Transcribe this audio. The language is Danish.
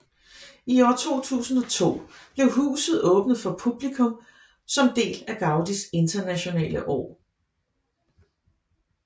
I år 2002 blev huset åbnet for publikum som del af Gaudis Internationale År